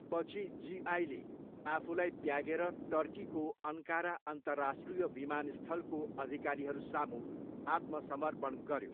पछि जिआईले आफूलाई त्यागेर टर्कीको अन्कारा अन्तरराष्ट्रिय विमानस्थलको अधिकारीहरूसामु आत्मसमर्पण गऱ्यो।